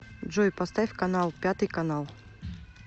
джой поставь канал пятый канал